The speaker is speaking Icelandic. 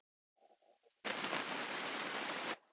Ef ég gæti svo stansað í